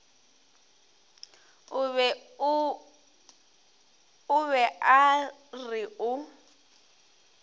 o be a re o